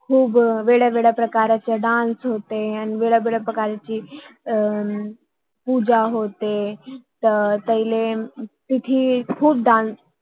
खूप वेगवेगळी प्रकारचा डान्स dance होतो आणि वेगवेगळी प्रकारची अर पूजा होते त्यांना तिथी खूप डान्स dance